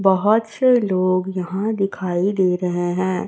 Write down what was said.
बहोत से लोग यहां दिखाई दे रहे हैं।